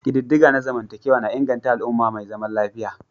Ƙididdiga na zamantakewa na inganta al'umma mai zaman lafiya.